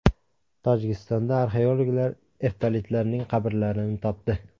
Tojikistonda arxeologlar eftalitlarning qabrlarini topdi.